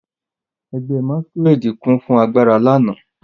Ẹgbẹ́ masquerade kún fún agbára lánàá.